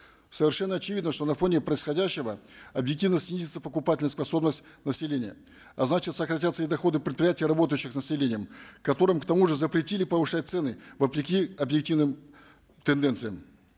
совершенно очевидно что на фоне происходящего объективно снизится покупательская способность населения а значит сократятся и доходы предприятий работающих с населением которым к тому же запретили повышать цены вопреки объективным тенденциям